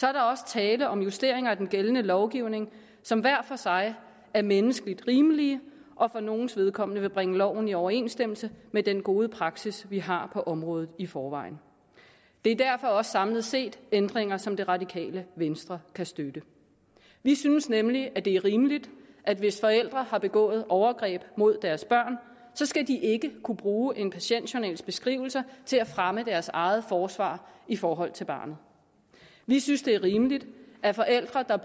er der også tale om justeringer af den gældende lovgivning som hver for sig er menneskeligt rimelige og for nogles vedkommende vil bringe loven i overensstemmelse med den gode praksis vi har på området i forvejen det er derfor også samlet set ændringer som det radikale venstre kan støtte vi synes nemlig at det er rimeligt at hvis forældre har begået overgreb mod deres børn skal de ikke kunne bruge en patientjournals beskrivelser til at fremme deres eget forsvar i forhold til børnene vi synes det er rimeligt at forældre der